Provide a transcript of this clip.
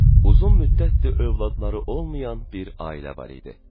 Uzun müddətdir övladları olmayan bir ailə var idi.